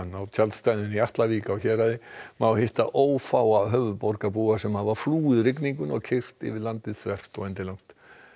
á tjaldstæðinu í Atlavík á Héraði má hitta ófáa höfuðborgarbúa sem hafa flúið rigninguna og keyrt yfir landið þvert og endilangt